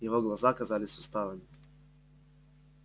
его глаза казались усталыми